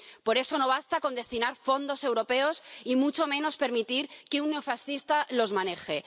Por eso, no basta con destinar fondos europeos, y mucho menos permitir que un neofascista los maneje.